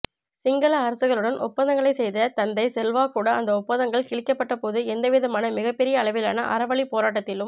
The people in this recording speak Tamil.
சிங்கள அரசுகளுடன் ஒப்பந்தங்களை செய்த தந்தை செல்வா கூட அந்த ஒப்பந்தங்கள் கிழிக்கப்பட்டபோது எந்த விதமான மிகப்பெரிய அளவிலான அறவழிப்போராட்டத்திலும்